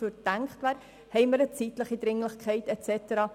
Haben wir eine zeitliche Dringlichkeit und so weiter?